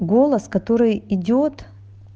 голос который идёт